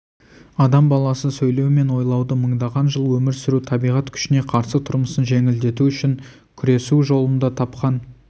адам баласы сөйлеу мен ойлауды мыңдаған жыл өмір сүру табиғат күшіне қарсы тұрмысын жеңілдету үшін күресу жолында тапқан